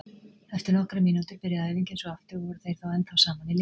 Eftir nokkrar mínútur byrjaði æfingin svo aftur og voru þeir þá ennþá saman í liði.